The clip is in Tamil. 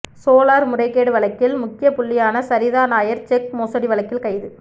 சோலார் முறைகேடு வழக்கில் முக்கிய புள்ளியான சரிதா நாயர் செக் மோசடி வழக்கில் கைது